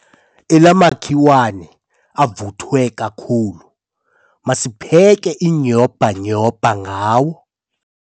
Ela makhiwane avuthwe kakhulu masipheke inyhobhanyhobha ngawo.